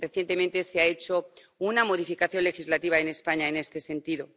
Recientemente se ha hecho una modificación legislativa en España en este sentido.